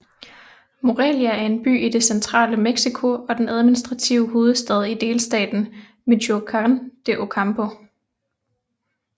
Morelia er en by i det centrale Mexico og den administrative hovedstad i delstaten Michoacán de Ocampo